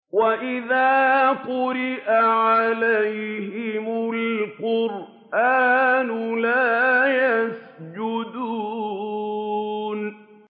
وَإِذَا قُرِئَ عَلَيْهِمُ الْقُرْآنُ لَا يَسْجُدُونَ ۩